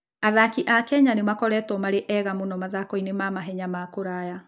Athaki a Kenya nĩ makoretwo marĩ ega mũno mathako-inĩ ma mahenya ma kũraya.